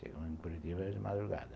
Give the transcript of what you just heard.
Chegamos em Curitiba de madrugada.